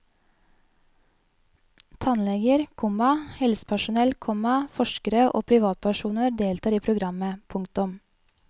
Tannleger, komma helsepersonell, komma forskere og privatpersoner deltar i programmet. punktum